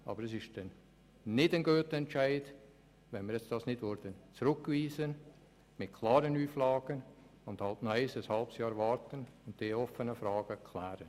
Aber es wäre kein guter Entscheid, wenn wir die Rückweisung nicht mit klaren Auflagen vornehmen und noch ein halbes Jahr warten, um noch offene Fragen zu klären.